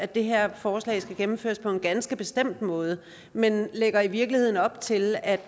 det her forslag skal gennemføres på en ganske bestemt måde men vi lægger i virkeligheden op til at